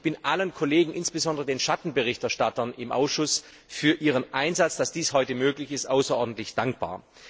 Ich bin allen Kollegen und insbesondere den Schattenberichterstattern im Ausschuss für ihren Einsatz dafür, dass dies heute möglich ist, außerordentlich dankbar.